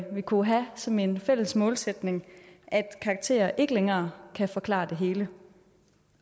vi kunne have som en fælles målsætning at karakterer ikke længere kan forklare det hele